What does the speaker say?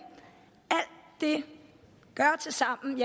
det gør tilsammen